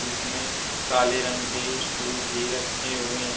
इसमें काले रंग के स्टूल भी रखें हुए हैं।